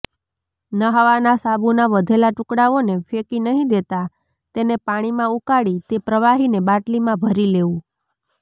નહાવાના સાબુના વધેલા ટુકડાઓને ફેંકી નહીં દેતાં તેને પાણીમાં ઉકાળી તે પ્રવાહીને બાટલીમાં ભરી લેવું